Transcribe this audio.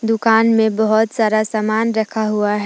दुकान में बहुत सारा सामान रखा हुआ है।